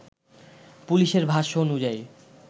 পুলিশের ভাষ্য অনুযায়ী